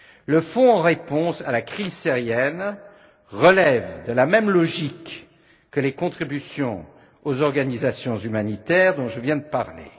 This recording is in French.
Le fonds en réponse à la crise syrienne relève de la même logique que les contributions aux organisations humanitaires dont je viens de parler.